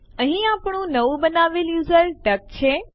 અહીં આપણે માત્ર સૌથી મહત્વપૂર્ણ જોઈશું